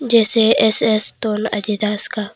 जैसे एस_एस टोन एडिडास का--